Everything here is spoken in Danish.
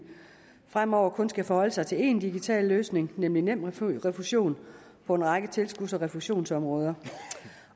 fremover kun skal forholde sig til én digital løsning nemlig nemrefusion på en række tilskuds og refusionsområder